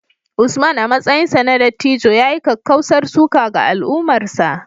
Usman, a matsayinsa na dattijo, ya yi kakkausar suka ga al’ummarsa